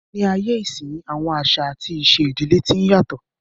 Ní ayé ìsínyi, àwọn àṣà àti ìṣe ìdílé tí n yàtọ̀